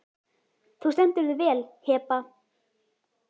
Þú stendur þig vel, Heba!